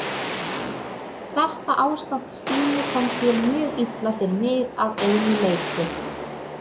Þetta ástand Stínu kom sér mjög illa fyrir mig að einu leyti.